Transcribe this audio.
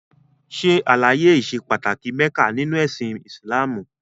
Ṣè alàye ìṣè pàtàkì Mekka nínu ẹ̀sìn Islamú!